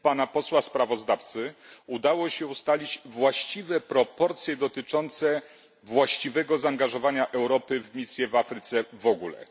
posła sprawozdawcy udało się ustalić właściwe proporcje dotyczące właściwego zaangażowania Europy w misję w Afryce w ogóle.